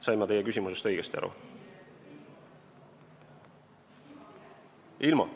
Sain ma teie küsimusest õigesti aru?